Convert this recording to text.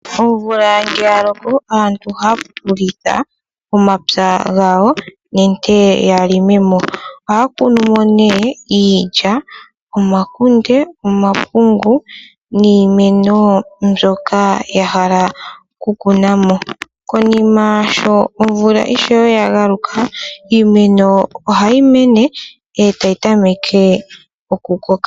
Omvula ngele yaloko aantu ohapululitha omapya ngawo nenge yalongemo, aya kunumo ne iilya, omakunde, omapungu, niimeno mbyoka yahala kukunamo, konima sho ishewe omvula yagaluka iimeno ohayi mene otayi tameke oku koka.